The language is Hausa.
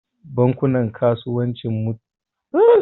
Bankunan Kasuwanci suna karɓar ajiya daga daidaikun mutane da kasuwanci.